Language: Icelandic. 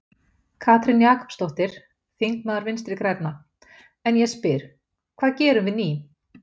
Katrín Jakobsdóttir, þingmaður Vinstri-grænna: En ég spyr, hvað gerum við ný?